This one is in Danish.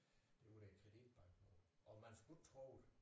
Det var der kreditbanken lå og man skulle ikke tro det